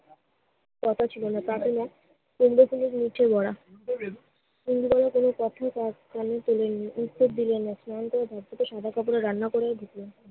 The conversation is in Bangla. কথা ছিল না। তা কিনা কুমড়ো ফুলের নিচে বড়া। ইন্দুবালা কোনো কোথাই তার কানে তোলেন নি। উত্তর দিলেন না। সাদা কাপড়ে রান্না করেও দিত।